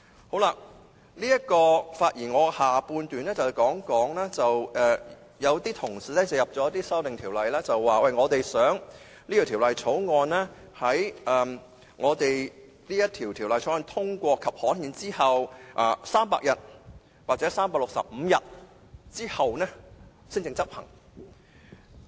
我發言的下半部分會談到一些同事提出的修正案，內容是希望《條例草案》在獲得通過及刊憲後的300天或365天才執行。